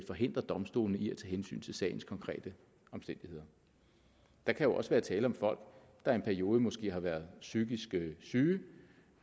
forhindre domstolene i at tage hensyn til sagens konkrete omstændigheder der kan jo også være tale om folk der i en periode måske har været psykisk syge